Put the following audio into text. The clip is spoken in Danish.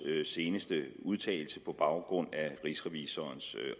seneste udtalelse på baggrund af rigsrevisorens